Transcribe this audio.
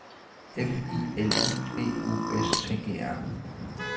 F I L I B U S T E R